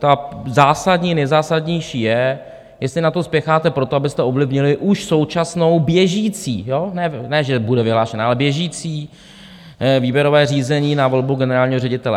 Ta zásadní, nejzásadnější je, jestli na to spěcháte proto, abyste ovlivnili už současnou běžící, ne že bude vyhlášená, ale běžící... výběrové řízení na volbu generálního ředitele.